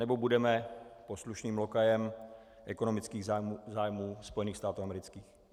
Nebo budeme poslušným lokajem ekonomických zájmů Spojených států amerických?